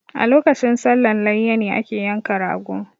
A lokacin sallan layya ne ake yanka ragp